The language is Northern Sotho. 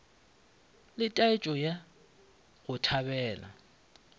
le taetšo ya go thabela